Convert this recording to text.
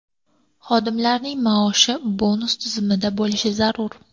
Xodimlarning maoshi bonus tizimida bo‘lishi zarur.